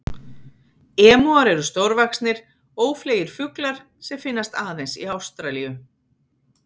Emúar eru stórvaxnir, ófleygir fuglar sem finnast aðeins í Ástralíu.